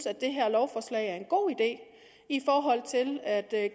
at det her lovforslag er en god idé i forhold til at